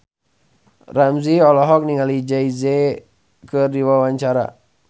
Ramzy olohok ningali Jay Z keur diwawancara